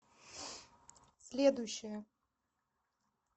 следующая